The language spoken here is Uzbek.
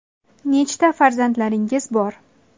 Nechta farzandlaringiz bor?